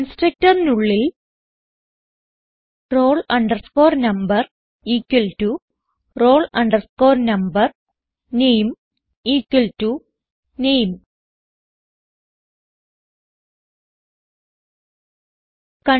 constructorനുള്ളിൽ roll number equal to roll number name equal to name